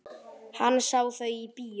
Hann sá þau í bíó.